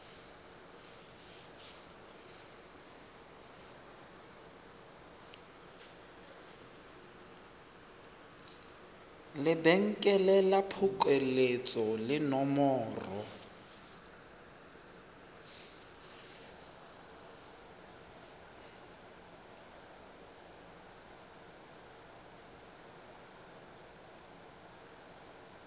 lebenkele la phokoletso le nomoro